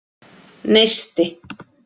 Neisti